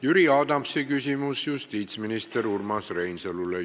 Jüri Adamsi küsimus justiitsminister Urmas Reinsalule.